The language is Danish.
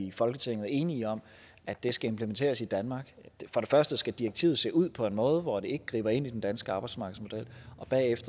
i folketinget enige om at det skal implementeres i danmark for det første skal direktivet se ud på en måde hvor det ikke griber ind i den danske arbejdsmarkedsmodel